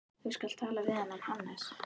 Þú skalt tala við þennan Hannes.